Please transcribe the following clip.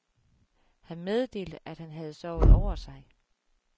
Han meddelte, at han havde sovet over sig.